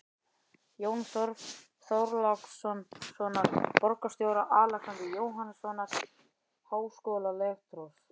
Jóns Þorlákssonar borgarstjóra, Alexanders Jóhannessonar háskólarektors